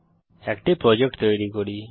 এখন একটি প্রজেক্ট তৈরী করি